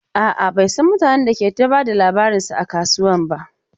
A'a, bai san mutanen da ke ta ba da labarinsa a kasuwan ba.